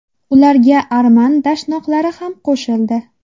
Ularga arman dashnoqlari ham qo‘shildi.